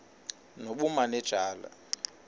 nobumanejala